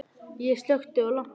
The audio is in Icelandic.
Ég slökkti á lampanum.